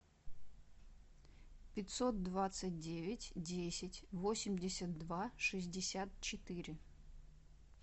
пятьсот двадцать девять десять восемьдесят два шестьдесят четыре